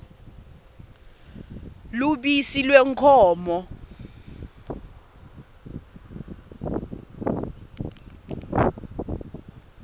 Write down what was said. lubisi lwenkhomo